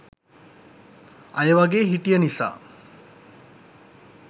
අය වගේ හිටිය නිසා